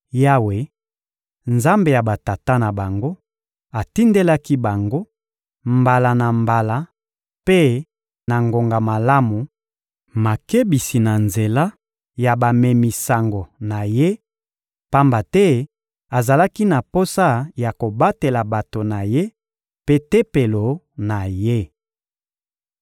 Yawe, Nzambe ya batata na bango, atindelaki bango, mbala na mbala mpe na ngonga malamu, makebisi na nzela ya bamemi sango na Ye, pamba te azalaki na posa ya kobatela bato na Ye mpe Tempelo na Ye.